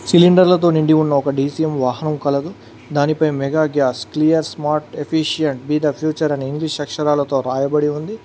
సిలిండర్లతో నిండి ఉన్న ఒక డీ_సీ_ఎం వాహనం కలదు దానిపై mega gas clear smart efficient be the future అని ఇంగ్లీష్ అక్షరాలతో రాయబడి ఉంది.